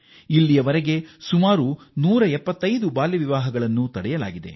ಈವರೆಗೆ 175 ಬಾಲ್ಯ ವಿವಾಹಗಳನ್ನು ತಡೆಯಲಾಗಿದೆ